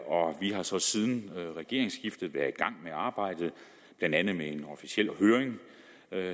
og vi har så siden regeringsskiftet været i gang med arbejdet blandt andet med en officiel høring